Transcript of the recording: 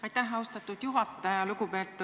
Aitäh, austatud juhataja!